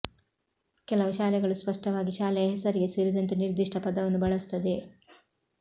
ಕೆಲವು ಶಾಲೆಗಳು ಸ್ಪಷ್ಟವಾಗಿ ಶಾಲೆಯ ಹೆಸರಿಗೆ ಸೇರಿಸಿದಂತೆ ನಿರ್ದಿಷ್ಟ ಪದವನ್ನು ಬಳಸುತ್ತವೆ